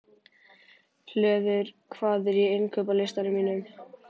Hlöður, hvað er á innkaupalistanum mínum?